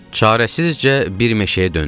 Çarəsizcə bir meşəyə döndük.